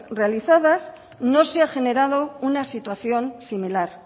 realizadas no se ha generado una situación similar